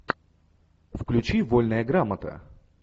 включи вольная грамота